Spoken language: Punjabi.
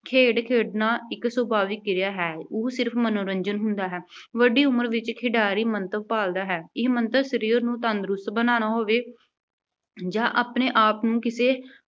ਖੇਡ ਖੇਡਣਾ ਇੱਕ ਸੁਭਾਵਿਕ ਕਿਰਿਆ ਹੈ, ਉਹ ਸਿਰਫ਼ ਮਨੋਰੰਜਨ ਹੁੰਦਾ ਹੈ। ਵੱਡੀ ਉਮਰ ਵਿੱਚ ਖਿਡਾਰੀ ਮੰਤਵ ਭਾਲਦਾ ਹੈ। ਇਹ ਮੰਤਵ ਸਰੀਰ ਨੂੰ ਤੰਦਰੁਸਤ ਬਣਾਉਣਾ ਹੋਵੇ ਜਾਂ ਆਪਣੇ ਆਪ ਨੂੰ ਕਿਸੇ